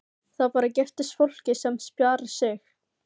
Það bara giftist fólki sem spjarar sig.